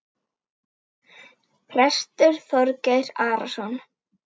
Prestur Þorgeir Arason.